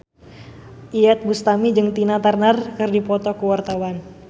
Iyeth Bustami jeung Tina Turner keur dipoto ku wartawan